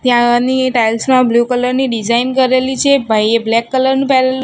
ત્યાંની ટાઇલ્સ મા blue colour ની ડિઝાઇન કરેલી છે ભાઈએ બ્લેક કલર નુ પેહરેલુ--